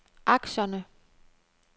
aktierne